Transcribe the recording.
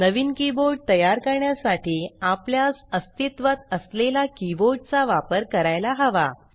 नवीन keyboard तयार करण्यासाठी आपल्यास अस्तित्वात असलेला कीबोर्ड चा वापर करायला हवा